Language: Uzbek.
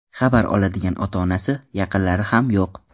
Xabar oladigan ota-onasi, yaqinlari ham yo‘q.